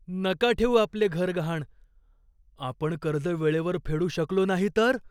नका ठेवू आपले घर गहाण. आपण कर्ज वेळेवर फेडू शकलो नाही तर?